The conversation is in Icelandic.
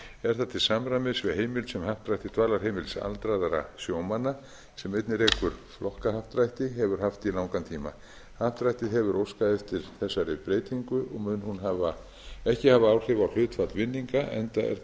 er það til samræmis við heimild sem happdrætti dvalarheimilis aldraðra sjómanna sem einnig rekur flokkahappdrætti hefur haft í langan tíma happdrættið hefur óskað eftir þessari breytingu og mun hún ekki hafa áhrif á hlutfall vinninga enda er það